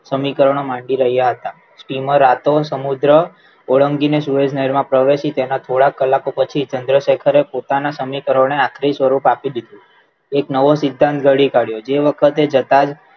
સમીકરણો માગી રહ્યા હતા તેમાં રાતો સમુદ્ર ઓળંગીને સૂરજ નહેરમાં પ્રવેશી તેમાં થોડાક કલાકો પછી ચંદ્રશેખરે પોતાના સમીકરણોને આખરી સ્વરૂપ આપી દીધું એક નવો સિદ્ધાંત ઘડી કાઢ્યો જે વખતે જતા જ